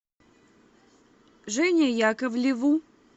жене яковлеву